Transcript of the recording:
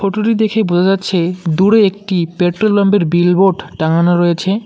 Photo -টি দেখে বোঝা যাচ্ছে দূরে একটি পেট্রোল পাম্প -এর বিলবোর্ড টাঙ্গানো রয়েছে।